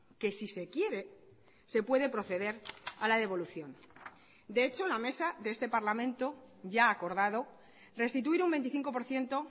que si se quiere se puede proceder a la devolución de hecho la mesa de este parlamento ya ha acordado restituir un veinticinco por ciento